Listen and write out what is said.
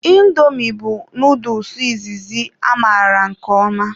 Indomi bụ noodul izizi amaara nke ọma.